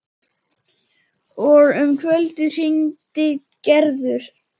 Og um kvöldið hringdi Gerður.